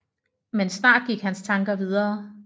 Men snart gik hans tanker videre